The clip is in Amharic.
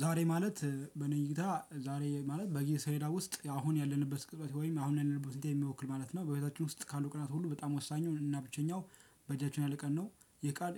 ዛሬ ማለት በእኔ እይታ ዛሬ ማለት በእኔ እይታ ውስጥ አሁን ያለንበት ቅጽበት ወይም አሁን ያለንበት ሁኔታ የሚወክል ማለት ነው በህይወታችን ካሉ ቀናት ሁሉ በጣም ወሳኙ እና ብቸኛው በእጃችን ያለ ቀን ነው ይህ ቀን